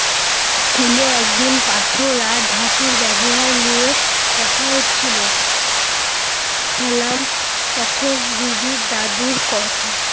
স্কুলে একদিন পাথর আর ধাতুর ব্যবহার নিয়ে কথা হচ্ছিল। সালাম তখন রুবির দাদুর কথা